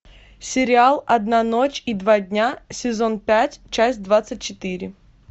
сериал одна ночь и два дня сезон пять часть двадцать четыре